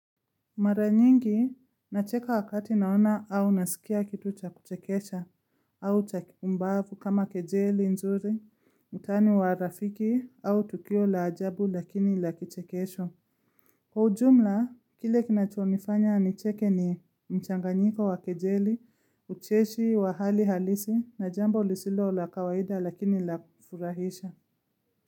Mara nyingi nacheka wakati naona au naskia kitu cha kuchekesha au cha kikumbavu kama kejeli nzuri, utani wa rafiki au tukio la ajabu lakini lakichekesho. Kwa ujumla, kile kinachonifanya nicheke ni mchanganyiko wa kejeli, ucheshi wa hali halisi na jambo lisilo la kawaida lakini lafurahisha.